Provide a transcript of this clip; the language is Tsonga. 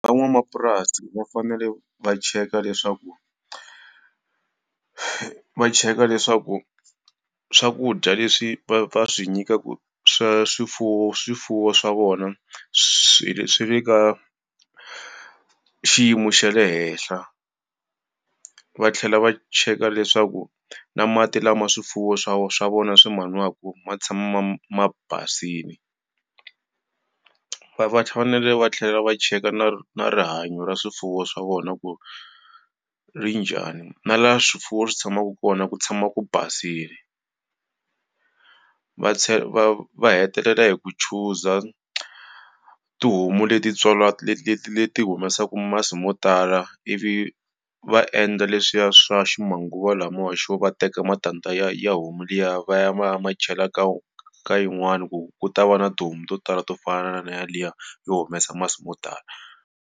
Van'wamapurasi va fanele va cheka leswaku, va cheka leswaku swakudya leswi va va swi nyikaka swa swifuwo swifuwo swa vona, swi swi le ka xiyimo xa le henhla. Va tlhela va cheka leswaku na mati lama swifuwo swa swa vona swi ma nwaka tshama ma basile. Va va tlhela va cheka na na rihanyo ra swifuwo swa vona ku ri njhani na la swifuwo swi tshamaka kona ku tshama ku basile. Va va va hetelela hi ku chuza tihomu leti leti leti humesaka masi mo tala ivi va endla leswiya swa ximanguvamalawa swo va teka matandza ya ya homu liya va ya va ya ma chela ka ka yin'wani ku ku ta va na tihomu to tala to fana na yaliya yo humesa masi yo tala.